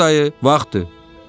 Səbzəli dayı, vaxtdır.